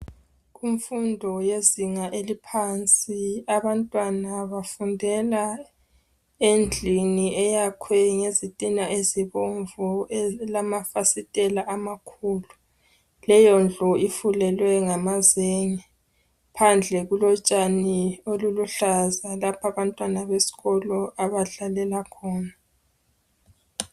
Kumfundo yezinga eliphansi abantwana bafundela endlini eyakhwe ngezitina ezibomvu elamafasitela amakhulu. Leyondlu ifulelwe ngamazenge. Phandle kulotshani oluluhlaza lapha abantwana besikolo abadlalela khona.